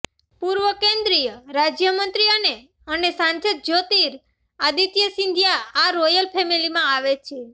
પૂર્વ કેન્દ્રીય રાજ્ય મંત્રી અને અને સાંસદ જ્યોતિર આદિત્ય સિંધિયા આ રોયલ ફેમેલીમાં આવે છે